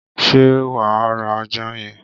ṣé wà á ra ajá yẹn?